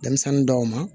Denmisɛnnin dɔw ma